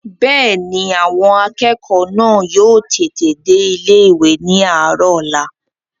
Bẹ́ẹ̀ni, àwọn akẹ́kọ̀ọ́ náà yóò tètè dé ilé-ìwé ní àárọ̀ ọ̀la